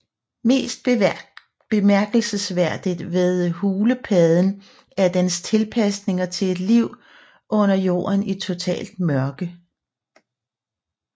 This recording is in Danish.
Mest bemærkelsesværdigt ved hulepadden er dens tilpasninger til et liv under jorden i totalt mørke